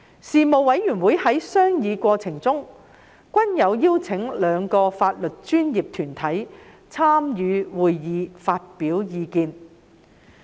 事務委員會在商議過程中，均有邀請兩個法律專業團體參與會議發表意見。